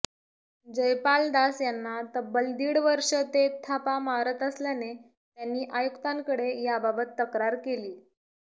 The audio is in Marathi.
जयपालदास यांना तब्बल दीड वर्ष ते थापा मारत असल्याने त्यांनी आयुक्तांकडे याबाबत तक्रार केली